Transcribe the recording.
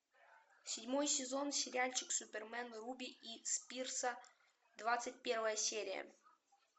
седьмой сезон сериальчик супермен руби и спирса двадцать первая серия